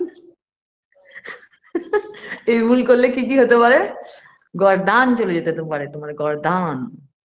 এই ভুল করলে কী কী হতে পারে গর্দান চলে যেতে তো পারে তোমার গর্দান